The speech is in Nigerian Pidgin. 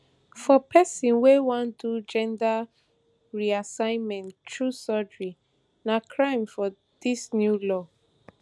for pesin wey wan do gender reassignment through surgery na crime for dis new law